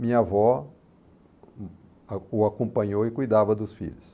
Minha avó o a o acompanhou e cuidava dos filhos.